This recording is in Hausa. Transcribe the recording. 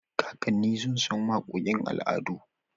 Kakanni sun san waƙoƙin al'adu.